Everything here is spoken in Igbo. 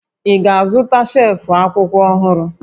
Ị ga-azụta shelf akwụkwọ ọhụrụ?